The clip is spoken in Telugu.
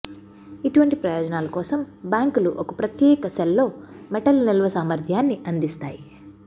ఇటువంటి ప్రయోజనాల కోసం బ్యాంకులు ఒక ప్రత్యేక సెల్ లో మెటల్ నిల్వ సామర్ధ్యాన్ని అందిస్తాయి